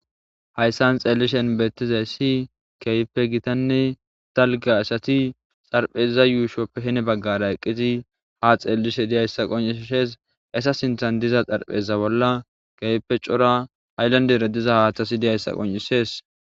Haysan xeelishin beetizayssi,keehipe gitane dalga asati xarapheza yuushope heni baggara eqqidi ha xeelishe dizaysa qoncises. Eeta sinthera diza xarapheza bolla kehippe cora haylandera haatheti dizaysa qoncisees.